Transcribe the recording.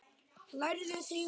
Lærðuð þið hönnun?